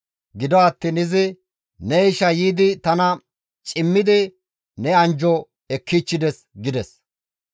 Gido attiin izi, «Ne ishay yiidi tana cimmidi ne anjjo ekkichchides» gides.